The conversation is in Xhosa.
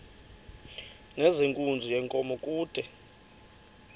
nezenkunzi yenkomo kude